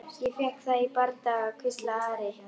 Ég fékk það í bardaga, hvíslaði Ari.